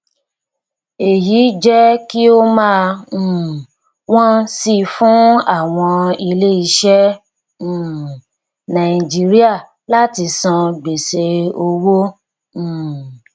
èyí jẹ kí ó máa um wọn si fún àwọn ilé iṣẹ um nàìjíríà láti san gbèsè owó um